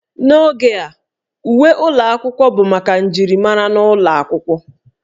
N'oge a, uwe ụlọ akwụkwọ bụ maka njirimara n'ụlọ akwụkwọ